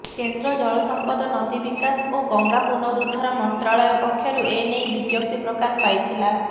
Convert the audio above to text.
କେନ୍ଦ୍ର ଜଳସମ୍ପଦ ନଦୀ ବିକାଶ ଓ ଗଙ୍ଗା ପୁନରୁଦ୍ଧାର ମନ୍ତ୍ରାଳୟ ପକ୍ଷରୁ ଏନେଇ ବିଜ୍ଞପ୍ତି ପ୍ରକାଶ ପାଇଥିଲା